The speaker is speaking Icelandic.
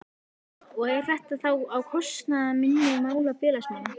Björn: Og er þetta þá á kostnað minni mála félagsmanna?